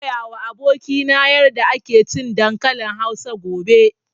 Zan koya wa abokina yarda ake cin dankalin Hausa gobe